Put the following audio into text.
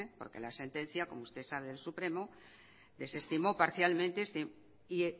porque la sentencia como usted sabe del supremo desestimó parcialmente este y